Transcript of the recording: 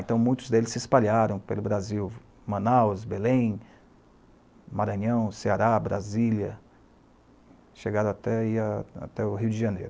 Então, muitos deles se espalharam pelo Brasil, Manaus, Belém, Maranhão, Ceará, Brasília, chegaram até ir até o Rio de Janeiro.